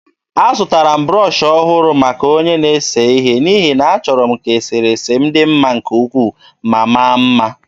Azụtara m brọsh ọhụrụ maka onye na-ese ihe n’ihi na achọrọ m ka eserese m dị mma nke ukwuu ma maa mma.